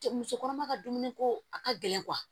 Cɛ musokɔrɔba ka dumuni ko a ka gɛlɛn